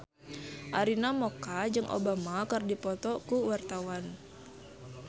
Arina Mocca jeung Obama keur dipoto ku wartawan